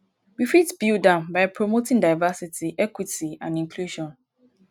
we fit build am by promoting diversity equity and inclusion.